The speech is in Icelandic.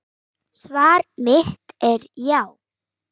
Svar mitt er já.